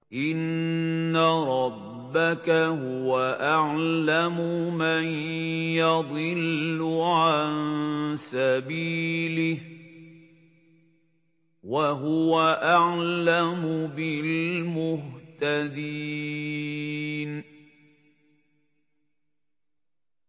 إِنَّ رَبَّكَ هُوَ أَعْلَمُ مَن يَضِلُّ عَن سَبِيلِهِ ۖ وَهُوَ أَعْلَمُ بِالْمُهْتَدِينَ